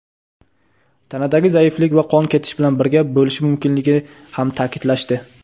tanadagi zaiflik va qon ketish bilan birga bo‘lishi mumkinligini ham ta’kidlashdi.